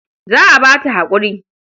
Za a ba ta haƙuri.